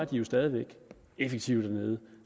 de jo stadig væk effektive dernede